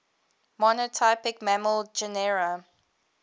monotypic mammal genera